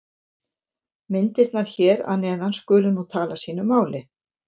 Myndirnar hér að neðan skulu nú tala sínu máli.